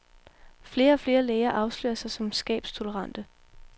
Flere og flere læger afslører sig som skabstolerante.